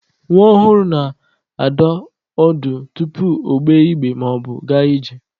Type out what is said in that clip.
Nwa ọhụrụ na-adọ ọdụ tupu ogbe igbe maọbụ gaa ije.